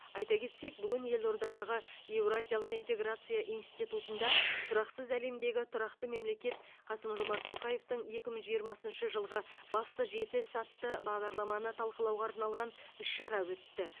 айта кетсек бүгін елордадағы еуразиялық интеграция институтында тұрақсыз әлемдегі тұрақты мемлекет қасым жомарт тоқаевтің екі мың жиырмасыншы жылғы басты жеті ісі атты бағдарламаны талқылауға арналған іс шара өтті